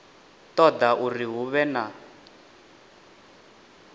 ṱoḓa uri hu vhe na